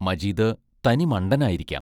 Majeed തനിമണ്ടനായിരിക്കാം.